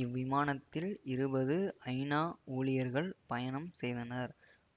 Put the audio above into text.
இவ்விமானத்தில் இருபது ஐநா ஊழியர்கள் பயணம் செய்தனர்